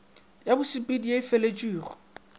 ya bosepedi ye e feletšwego